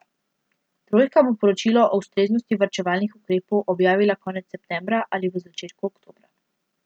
Trojka bo poročilo o ustreznosti varčevalnih ukrepov objavila konec septembra ali v začetku oktobra.